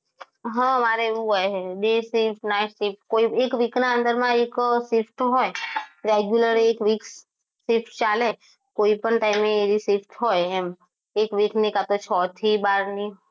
આ અમારે એવું હોય day shift night shift કોઈ એક week ના અંદરમાં એક shift હોય regular એક week shift ચાલે કોઈપણ time એ shift હોય એક week ની કાં તો છ થી બારની